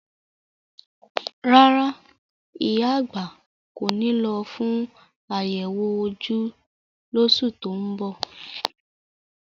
Rárá, ìyá àgbà kò ní lọ fún àyẹ̀wò ojú lóṣù tó ń bọ̀.